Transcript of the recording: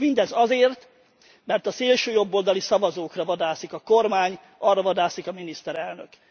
S mindez azért, mert a szélsőjobboldali szavazókra vadászik a kormány, arra vadászik a miniszterelnök.